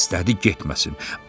İstədi getməsin.